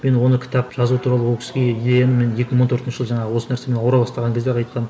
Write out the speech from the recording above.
мен оны кітап жазу туралы ол кісіге идеяны мен екі мың он төртінші жылы жаңағы осы нәрсемен ауыра бастаған кезде ақ айтқанмын